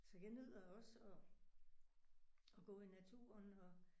Så jeg nyder også at at gå i naturen og